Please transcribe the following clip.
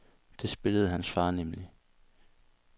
Det spillede hans far nemlig.